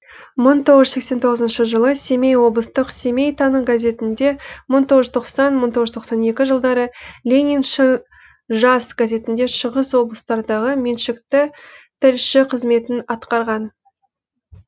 мың тоғыз сексен тоғызыншы жылы семей облыстық семей таңы газетінде мың тоғыз жүз тоқсаныншы мың тоғыз жүз тоқсан екінші жылдары лениншіл жас газетінің шығыс облыстардағы меншікті тілшісі қызметін атқарған